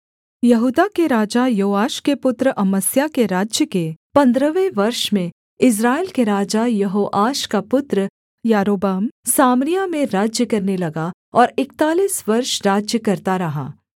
यहूदा के राजा योआश के पुत्र अमस्याह के राज्य के पन्द्रहवें वर्ष में इस्राएल के राजा यहोआश का पुत्र यारोबाम सामरिया में राज्य करने लगा और इकतालीस वर्ष राज्य करता रहा